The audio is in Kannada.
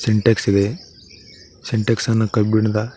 ಸಿಂಟ್ಯಾಕ್ಸ್ ಇದೆ ಸಿಂಟ್ಯಾಕ್ಸ್ ಅನ್ನು ಕಬ್ಬಿಣದ--